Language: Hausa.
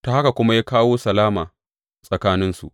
Ta haka kuma ya kawo salama tsakaninsu.